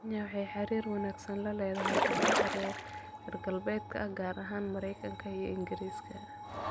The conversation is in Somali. Kenya waxay xiriir wanaagsan la lahayd dalalka reer galbeedka, gaar ahaan Maraykanka iyo Ingiriiska.